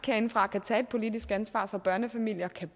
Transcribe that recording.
herindefra kan tage et politisk ansvar så børnefamilier kan